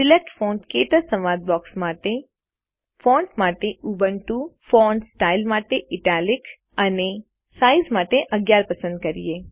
select font ક્ટચ સંવાદ બોક્સમાં ફોન્ટ માટે ઉબુન્ટુ ફોન્ટ સ્ટાઇલ માટે ઇટાલિક અને સાઇઝ માટે 11 પસંદ કરીએ